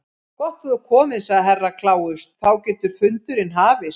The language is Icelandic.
Gott að þú ert kominn, sagði Herra Kláus, þá getur fundurinn hafist.